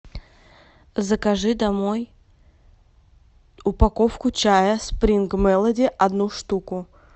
закажи домой упаковку чая спринг мелоди одну штуку